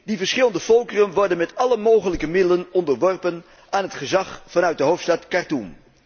Die verschillende volkeren worden met alle mogelijke middelen onderworpen aan het gezag vanuit de hoofdstad Khartoem.